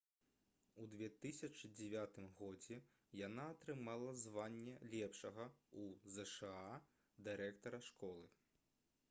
у 2009 годзе яна атрымала званне лепшага ў зша дырэктара школы